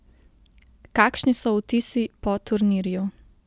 Kakšni so vtisi po turnirju?